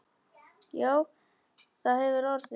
Já, það hefur orðið.